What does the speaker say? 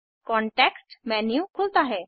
context menu खुलता है